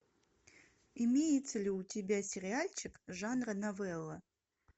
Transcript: имеется ли у тебя сериальчик жанра новелла